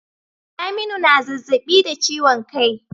Saminu na zazzabi da ciwon kai